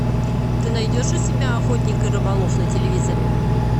ты найдешь у себя охотник и рыболов на телевизоре